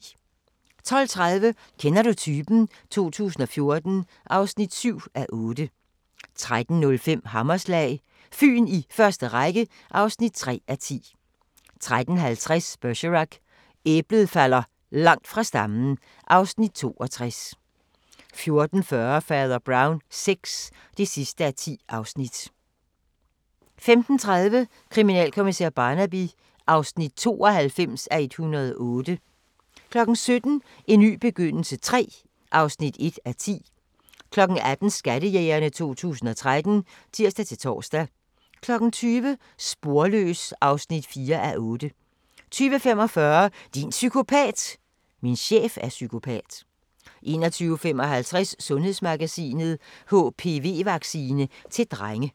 12:30: Kender du typen? 2014 (7:8) 13:05: Hammerslag – Fyn i første række (3:10) 13:50: Bergerac: Æblet falder langt fra stammen (Afs. 62) 14:40: Fader Brown VI (10:10) 15:30: Kriminalkommissær Barnaby (92:108) 17:00: En ny begyndelse III (1:10) 18:00: Skattejægerne 2013 (tir-tor) 20:00: Sporløs (4:8) 20:45: Din psykopat! – Min chef er psykopat 21:55: Sundhedsmagasinet: HPV-vaccine til drenge